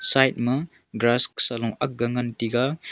side ma grass salo akga ngan taiga.